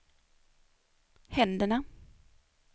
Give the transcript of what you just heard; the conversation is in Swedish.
händerna